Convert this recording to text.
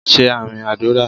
Ṣé àmín àdúrà